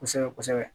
Kosɛbɛ kosɛbɛ